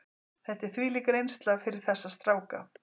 Þetta er þvílík reynsla fyrir þessa stráka.